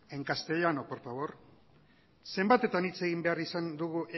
en castellano por favor zenbatetan hitz egin behar izan dugu